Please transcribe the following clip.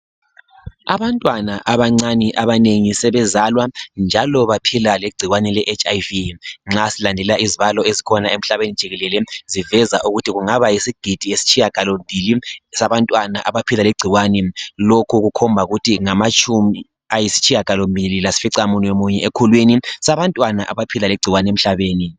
Abantwana abacane abanengi sebezalwa njalo baphila lengcikwane le etshi ayivi. Nxa silandelela izibalo ezikhona emhlabeni jikelele ziveza ukuthi kungaba yisigidi eyesitshiyangalo mbili sabantwana abaphila lengcikwane. Lokhu kukhomba ukuthi ngamatshumi ayisitshiyangalo mbili lasficamunwe munye ekhulwini sabantwana abaphila lengcikwane emhlabeni.